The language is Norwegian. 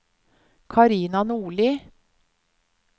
Karina Nordli